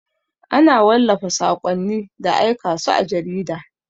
Ana wallafa saƙonni da aika su a jarida.